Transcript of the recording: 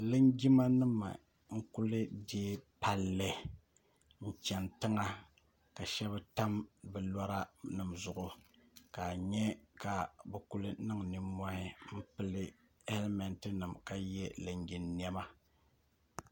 Linjimanima n-kuli teei palli chani tiŋa ka shɛba tam bɛ lora zuɣu ka a nya ka bɛ kuli niŋ nimmɔhi m-pili hɛlimɛntinima ka ye linjin' nɛma